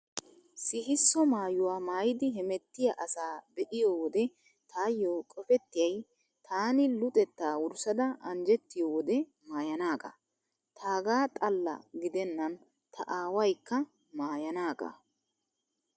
Sihisso maayuwaa maayidi hemettiyaa asaa be'iyo wode taayyo qopettiyay taani luxettaa wurssada anjjettiyo wode maayanaagaa. Taagaa xalla gidennan ta aawaykka maayanaagaa.